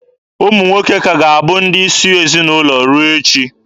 Ụmụ nwoke ka ga-abụ ndị isi ezinaụlọ ruo echi.